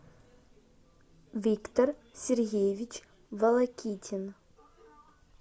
виктор сергеевич волокитин